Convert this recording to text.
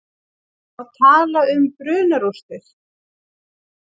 Má tala um brunarústir?